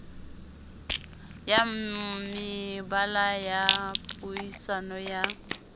ya mebala ya puisano ya